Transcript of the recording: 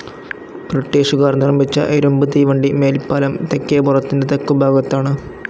ബ്രിട്ടീഷുകാർ നിർമ്മിച്ച ഇരുമ്പു് തീവണ്ടി മേൽപ്പാലം തെക്കേപ്പുറത്തിന്റെ തെക്കുഭാഗത്താണു്.